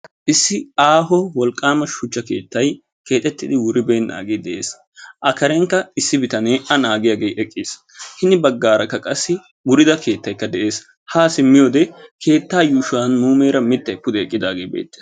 Issi aaho wolqqaama shuchcha keettayi keexettidi wuribernnaagee de'es. A karenkka Issi bitanee a naagiyagee eqqis. Hini baggaara qassi wurida keettayi de'es. Haa simmiyode sa'aa yuushuwan muleera mittayi eqqidaagee beettes .